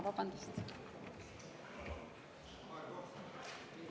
Vabandust!